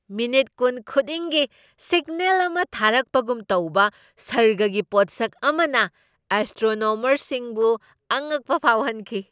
Minute ꯀꯨꯟ ꯈꯨꯗꯤꯡꯒꯤ signal ꯑꯃ ꯊꯥꯔꯛꯄꯒꯨꯝ ꯇꯧꯕ ꯁꯔꯒꯒꯤ ꯄꯣꯠꯁꯛ ꯑꯃꯅ ꯑꯦꯁꯇ꯭ꯔꯣꯅꯣꯃꯔꯁꯤꯡꯕꯨ ꯑꯉꯛꯄ ꯐꯥꯎꯍꯟꯈꯤ꯫